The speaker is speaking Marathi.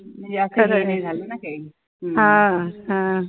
खरंय हा हा